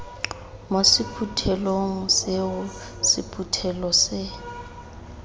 mo sephuthelong seo sephuthelo se